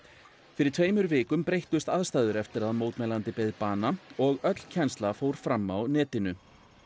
fyrir tveimur vikum breyttust aðstæður eftir að mótmælandi beið bana og öll kennsla fór fram á netinu